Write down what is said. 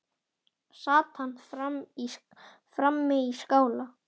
Sat hann frammi í skála.